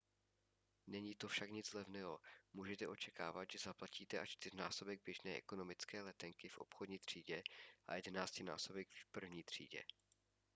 není to však nic levného můžete očekávat že zaplatíte až čtyřnásobek běžné ekonomické letenky v obchodní třídě a jedenáctinásobek v první třídě